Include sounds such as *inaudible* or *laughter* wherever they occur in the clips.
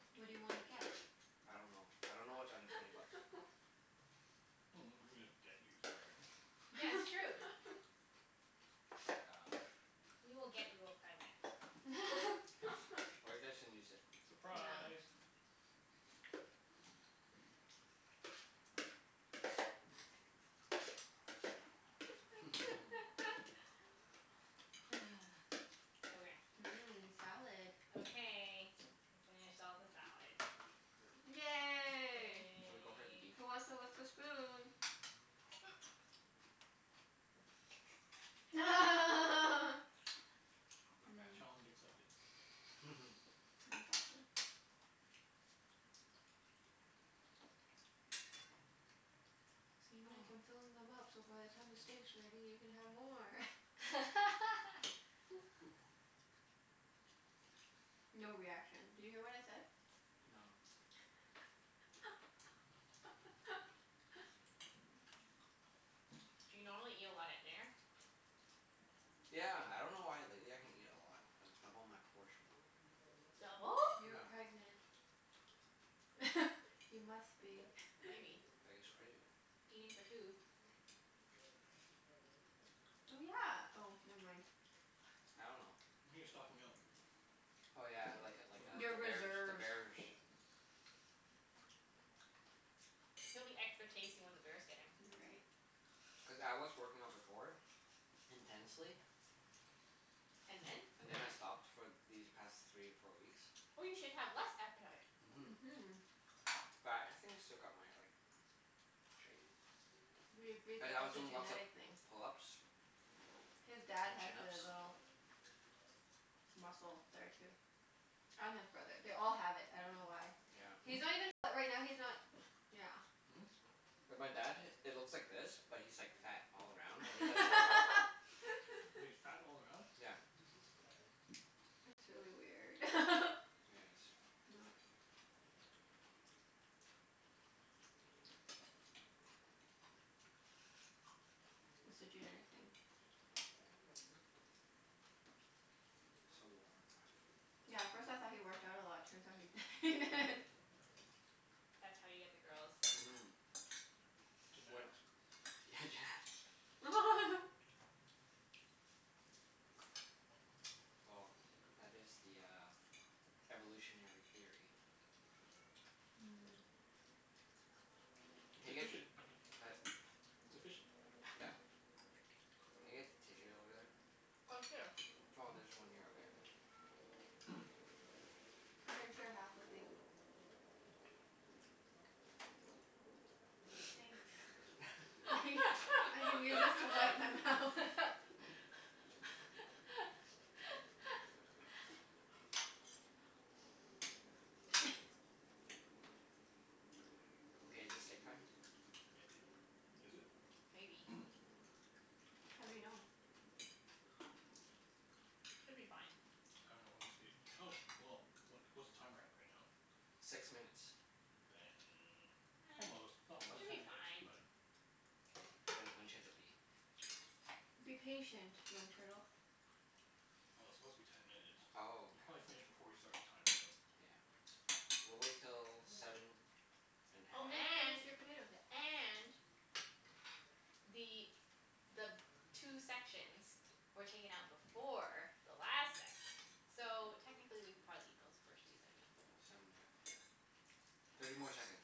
okay. *noise* What do you wanna get? *noise* I don't know. I don't know what's under twenty bucks. *noise* *laughs* Mm, we could just get you something. *noise* Yeah, *noise* it's true. That's like *laughs* um *noise* We will get you a present. *noise* *noise* Or you guys can use it. *laughs* *noise* Yeah. Surprise! *noise* *noise* *noise* *laughs* *laughs* *noise* Okay. *noise* Mmm, salad. Okay. We finished all the salad. *noise* *noise* Yay. Can we go for the beef? Yay. *noise* Who wants to lick the spoon? *noise* *noise* *noise* *laughs* *noise* *noise* Not bad. Challenge accepted. Mmm. *noise* *noise* Exactly. *laughs* *noise* *noise* See Mike? I'm *noise* filling them up so by the time the steak's ready you can have more. *laughs* *laughs* *noise* *laughs* *noise* *noise* *noise* No reaction. Did you hear what I said? No. *laughs* *noise* *noise* Do you normally eat a lot at dinner? *noise* *laughs* Yeah. I dunno why but lately I can eat a lot. I double my portion. *noise* Double? *noise* You're pregnant. *noise* *noise* Yeah. *laughs* You must be. *noise* Maybe. *laughs* *noise* I guess. Crazy. Eating for two. *noise* Oh, yeah. Oh, never mind. *noise* I dunno. *noise* *noise* Maybe you're stocking up? *noise* Oh yeah, like a like For *noise* a, the Your the birth *inaudible* bears. The reserves. bears. *noise* He'll be extra tasty when the bears get him. *noise* You're right. *noise* Cuz I was *noise* working out before. *laughs* Intensely. *noise* And then? And then I stopped for these past three or four weeks. *noise* Oh, you should have less appetite. Mhm. *noise* But I think I still got my like, *noise* shape. *noise* Mhm. *noise* We *noise* agreed But that I was that's a doing lots of genetic thing. *noise* pull-ups *noise* His dad and has chin-ups. the *noise* little Hmm? *noise* muscle there too. *noise* And his brother. They all *noise* have it. I dunno why. Yeah. He's not even fa- right now, he's not Yeah. Hmm? *noise* *noise* And my dad, it looks like this but he's like fat *noise* *noise* all *noise* around and he doesn't work *noise* out. He's fat *laughs* all around? *noise* *noise* Yeah. *laughs* *noise* It's really weird. *laughs* *noise* *noise* Yeah, *noise* it Not *laughs* is. *noise* It's a genetic thing. *noise* *noise* Yeah. *noise* So warm. *noise* Yeah, at first I thought he worked out a lot. Turns out he *laughs* he didn't. *laughs* *noise* *laughs* *noise* *noise* *noise* That's how you get the girls. *noise* Mhm. *noise* When, yeah, genetics. *noise* Genetics. *noise* Well, that is the uh, *noise* *noise* evolutionary theory. *noise* *laughs* Mm. *noise* It's Can I get, efficient. uh, It's efficient. *noise* *noise* yeah, can I get tissues over *noise* Oh, here. there? *noise* Oh, there's one here. Okay. Hmm? *noise* *noise* I can share half with you. *noise* Thanks. *noise* *laughs* I can use this to wipe my mouth. *laughs* *laughs* *laughs* *laughs* *noise* Okay, is it steak time? *noise* Maybe. Is it? *noise* Maybe. *noise* How do you know? *noise* Should be fine. *noise* I dunno when we stayed, oh, well, what what's the timer at right now? *noise* Six minutes. *noise* Then almost, *noise* not Almost? Should quite be ten minutes, fine. but *noise* Well, K, when when should it be? *noise* Be patient, young turtle. it's supposed to be ten *noise* minutes. Oh, You probably finished before we started the timer okay. though. Yeah. We'll wait till seven *noise* *noise* and a Oh You half. didn't and finish your potatoes yet. and *noise* the the two sections were taken out before the last section. So, technically we could probably eat those first two sections. *noise* Seven and a half, yeah. *noise* *noise* Thirty more seconds.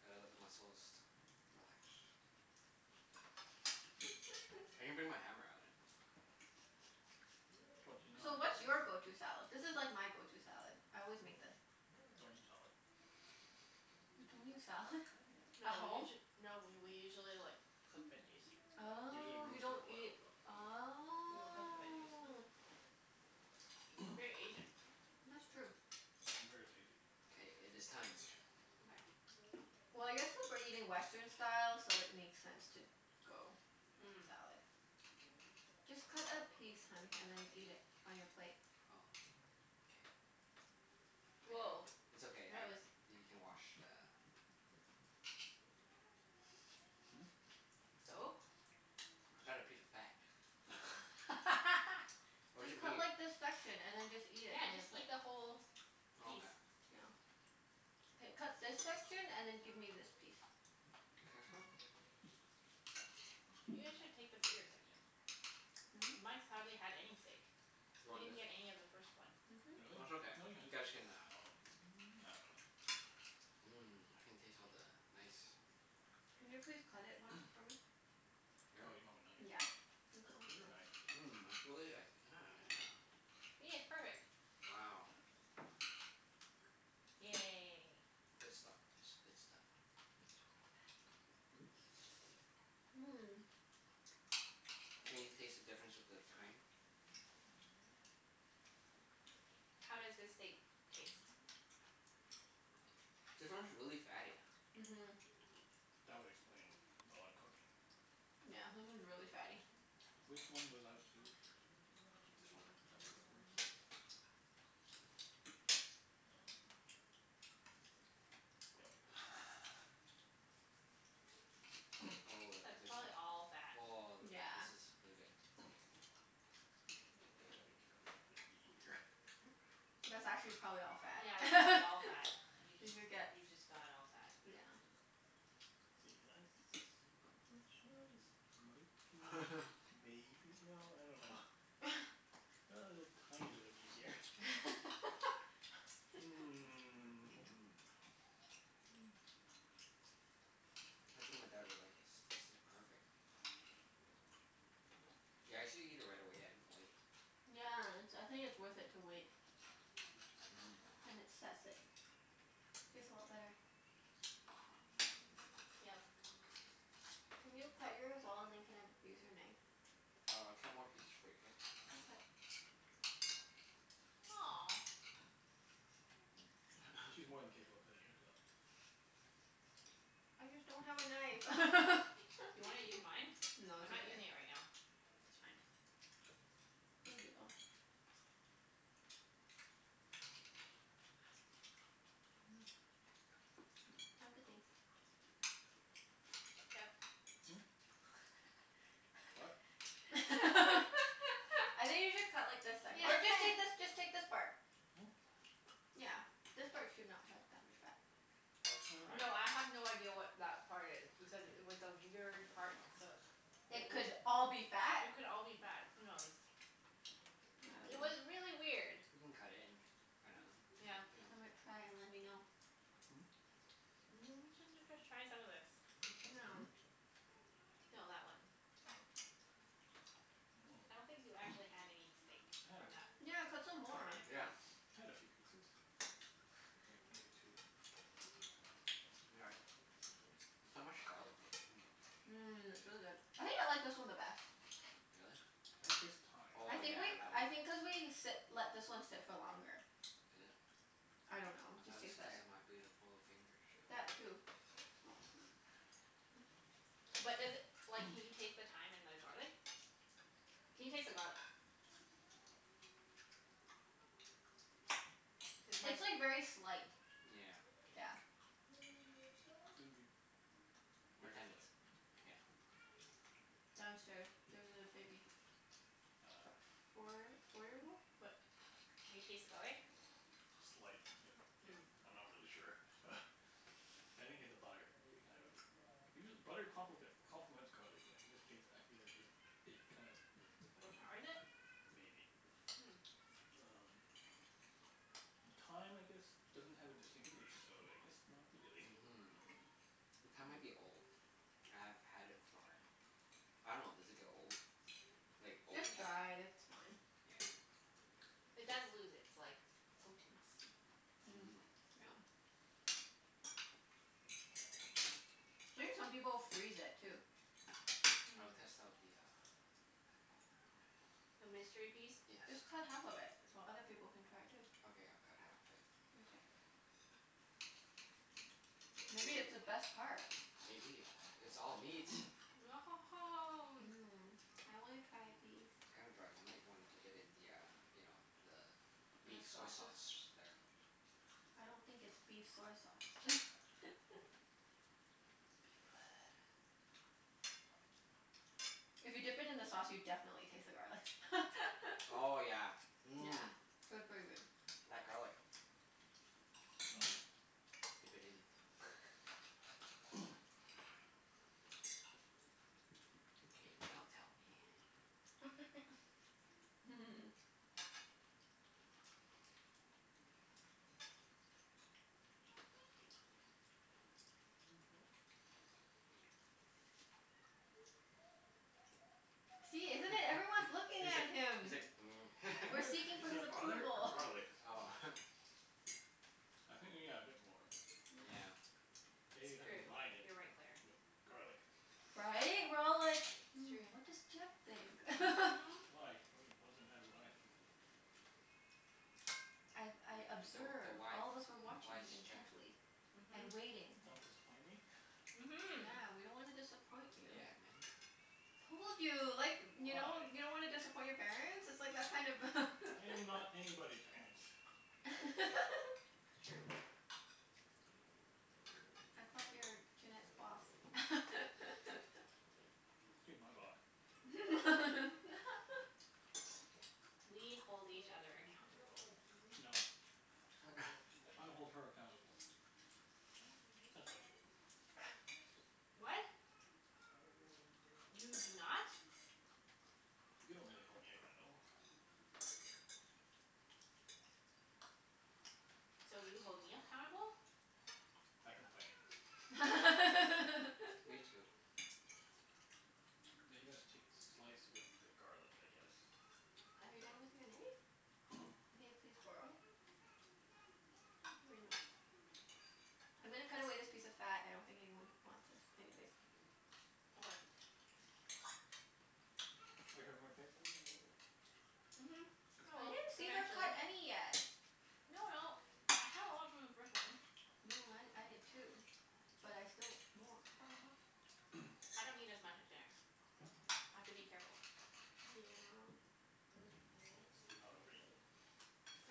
Gotta let the muscles relax. Twenty *noise* *noise* I can nine. bring my hammer out and *laughs* *noise* you know *noise* *noise* So, what's your go- *laughs* to Don't salad? This is like my go- to salad. I always eat make this. *noise* salad. You don't eat salad? *noise* *laughs* No At we home? usu- no we we usually *noise* like cook veggies. *noise* *noise* Usually Oh, you roast or don't boil. eat, *noise* We will cook the veggies. oh We're very Asian. *noise* *noise* That's true. I'm very lazy. *noise* K, it is time. *noise* Okay. *noise* Well, I guess cuz we're eating Western style, so it makes sense to *noise* go salad. Just cut a piece, hun, Mm. and then eat it on your plate. Oh. K. *noise* I cut, Woah, it's that okay. I, was you can *noise* wash the *noise* *noise* Hmm? *laughs* *laughs* What? So? *noise* I got a piece of fat. *noise* *noise* *noise* Where's Just the cut meat? like this section, and then just *laughs* eat it Yeah, on your just plate. eat *noise* the whole *noise* Okay. piece. *noise* Yeah. *noise* K, cut this section and then give me this piece. This section? *noise* You guys should take the bigger *noise* *noise* section. *noise* Really? Hmm? Mike's hardly had any steak. *noise* You He want didn't this? get any of the first one. *noise* That's okay. No, he You had guys *noise* some. I can uh dunno. *noise* Mhm. Mmm. I can taste all the nice *noise* Can you please cut it once for me? *noise* *noise* *noise* Here? Oh, *noise* you don't have a *noise* knife. Yeah. Thank you. Get her a knife. Mmm, it's really like, yeah, yeah. See? It's perfect. *noise* Wow. Yay. *noise* Good stuff guys. Good stuff. *noise* It's really fatty. *noise* Mmm. *noise* Can you taste the difference with the thyme? *noise* How does this steak taste? *noise* This one's really fatty. *noise* *noise* Mhm. *noise* That would explain the odd cooking. *noise* *noise* Yeah, this one's really fatty. Which one was out first? This one. *noise* That was out first? *noise* Um, yep. *noise* *noise* *laughs* *noise* Oh, of the That's good probably stuff. all fat. Oh, *noise* Yeah. this is really good. *noise* *noise* Gonna have to be careful of what I'm eating here. *noise* That's actually probably *noise* all Yeah, that's probably fat. all fat. *laughs* You Did just, you get, you just got all fat. yeah. See, that's pretty much, *noise* ah this might be, maybe, no, I dunno. *laughs* *noise* A little *laughs* tiny bit of meat here. *noise* *laughs* *noise* Mmm. Mmm. Mm. *noise* I think my dad would like this. This is perfect. *noise* *noise* Yeah, I usually eat it right away. I didn't wait. *noise* Yeah, it's, I think it's worth it to wait. *noise* Mhm. Then it sets it. Tastes a lot better. *noise* *noise* Yep. Can you cut yours all and then can I use your knife? *noise* *noise* Oh, I'll cut more pieces for you, k? *noise* Aw. *noise* *noise* She's more than capable of cutting it herself. *laughs* *laughs* Okay. *noise* I just don't have a knife. *noise* Do you wanna use *laughs* mine? No, I'm it's not okay. using it *noise* It's right now. fine. *laughs* *noise* *noise* Thank you, though. *noise* Mmm. Hmm? *noise* I'm good, thanks. *noise* *noise* Jeff. *noise* *noise* *laughs* *laughs* I What? think you should cut like the se- or just take this, just take this part. Yeah. *noise* *noise* Yeah. This part should not have that much fat. *noise* *noise* Nice try. No, I have no idea what that part is. Because it was a weird part to cook. Hmm? *noise* It It would could all be fat. It could all be *noise* I fat. Who knows? *noise* It was really weird. *noise* We can cut it and find *noise* Yeah. out dunno. *noise* Some might *noise* *noise* Hmm? *noise* try and let me know. *noise* N- j- j- just try some of the, this. *noise* you know Hmm? Now. No, that one. Oh. I I dunno. don't think you actually *noise* had any steak I had a from that. *noise* coup- Yeah, cut some *noise* more. *inaudible* piece. Yeah. *noise* *noise* I had a few pieces. Like maybe two. We got it. *noise* There's so much *noise* garlic taste. Hmm. *noise* *noise* Mmm, it's really Really? good. I think I like this one the best. *noise* *noise* I don't taste the thyme. *noise* Oh I think yeah, like, that I one. *noise* *laughs* Is it? *noise* I think cuz thought it we sit, let this one sit for longer. I don't know. Just tastes was cuz better. of my beautiful fingers. *noise* *noise* That too. *noise* *laughs* But does it, like, can you taste the thyme and the garlic? *noise* Can you taste the garlic? *noise* *noise* *noise* *noise* Cuz mine It'd It's like very slight. *noise* Yeah. Yeah. be *noise* My very tenants, slight. yeah. *noise* *noise* Downstairs. There's a baby. *noise* *noise* Ah. F- four four years old? *noise* But do you taste the garlic? *noise* Slight, if if, Mm. I'm not really sure. *noise* I think it's the butter, it kind of, usual- butter complic- complements garlic but in this case I feel like just, it kind of *laughs* *noise* Overpowers it? Maybe. *noise* Um And *noise* thyme I guess doesn't have a distinct taste, so I guess not *noise* Hmm. really. Mhm. The thyme might be old. *noise* *noise* I've had it for, I dunno, does it get old? Mm. Like, *noise* It's open after dried. It's fine. *noise* *noise* It does Yeah. lose its like, potency. *noise* Mm, yeah. Mhm. *noise* I think some people freeze it, *noise* too. *noise* *noise* I will Mhm. test out the uh, *noise* The mystery piece? *noise* yes. Just cut half of it so other people can try it too. Okay, I'll cut half of it. Mkay. *noise* Ooh, Maybe it's the best part? maybe. It's all meat. *noise* *noise* *noise* Mmm. I wanna try a *noise* piece. It's kinda dry. You might wanna dip it in the uh, you know, the *noise* The beef soy sauces? sauce there. *noise* I don't *noise* think it's beef Beef soy sauce. blood. *laughs* *noise* *noise* *noise* If you dip it in the sauce, you definitely taste the garlic. *noise* Oh yeah, *noise* Yeah. mmm. P- pretty good. *noise* Mhm. *noise* *noise* That garlic. Well then. *noise* Dip it in. *noise* *laughs* *noise* *noise* *noise* K, now tell me. *laughs* *noise* *noise* *laughs* *noise* *noise* *noise* *laughs* See, He's isn't it? Everyone's looking like, at he's him. like, *noise* mm. We're Butter? seeking for Is his that butter or approval. *laughs* garlic? Oh. *laughs* *noise* *noise* I think yeah, a bit more. *noise* *noise* *noise* Yeah. Maybe if It's I true. combined it You're right, Claire. with garlic. *noise* Right? We're all like, It's Yeah. "Hmm, what does true. Jeff think?" *laughs* Mhm. Why? What d- what does it matter what I think? *noise* *noise* I've, I *noise* You're the the observe, wife all of us were watching wise you chef. intently. *noise* And Mhm. waiting. Don't disappoint me? *noise* Mhm. Yeah. We don't wanna disappoint *noise* you. *noise* Told you. Like, you know? You Why? don't wanna disappoint your parents? It's like that kind of *laughs* Yeah, I am not anybody's parents. *laughs* *noise* *noise* It's true. man. *noise* I thought you were Junette's boss? She's my boss. *noise* *laughs* *noise* We hold each other accountable. *noise* *noise* No. *noise* *noise* I hold her accountable. *laughs* *noise* That's about it. *noise* What? *noise* *noise* *noise* You do not. *laughs* *noise* You don't really hold me accountable. *noise* So, you hold me appountable? *noise* I *noise* complain. *laughs* *noise* Are *laughs* *noise* Now Me too. *noise* you guys take slice with the garlic, I guess? you done with your knife? *noise* May I please borrow it? *noise* *noise* Thank you very much. *noise* I'm gonna cut away this piece of fat. I don't think anyone wants this anyways. *noise* Okay. *noise* Are you having more steak? *noise* Mhm, I I will. *inaudible* didn't see her Eventually. cut any yet. No no, I had a lot from the first one. No, I I did too. But I still mwan- ha ha ha. *noise* I don't eat as much at dinner. I have to be careful. Yeah. *noise* *noise* Yes, do not overeat.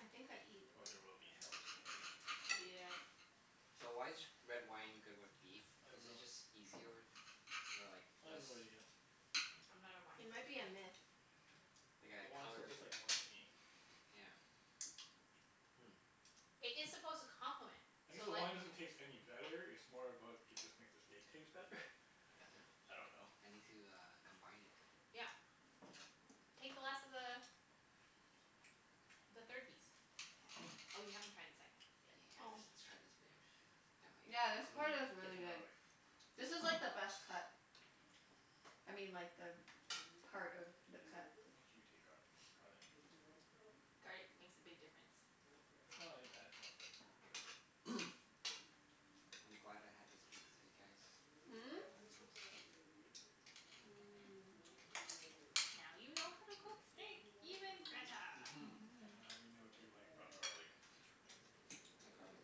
I think I eat Or there will be hell to pay. Yep. *noise* So, why is g- red wine good with beef? I don't Is it know. just *noise* easier, or like, I have less no idea. I'm not a wine It might be person. a myth. Like The a wine still color, tastes like wine to me. yeah. *laughs* *laughs* *noise* It is *noise* supposed to complement. I guess So the like wine doesn't taste any Hmm. better. It's more about, it just makes the steak taste better. *noise* *laughs* *noise* Does it? I don't know. I need to uh, combine it. Yeah. Take the last of the the third piece. *noise* Oh, you haven't tried the second *noise* yet. Yeah, I Oh. see. let's let's try this baby. *noise* *noise* Yeah, Yummy. this Mmm. part is Take some really good. garlic. *noise* This is *noise* like the best cut. *noise* I mean, like the part of the Yes. cut. Make sure you take garlic. Garlic. *noise* Garlic makes a big *noise* difference. Well, yeah, it adds more flavor for sure. *noise* *noise* I'm glad I had this beef with you guys. Hmm? *noise* Mmm. I learned some stuff. *noise* Now you know how to cook steak even *noise* better. And now we know to Mhm. like, rub garlic. *noise* The garlic.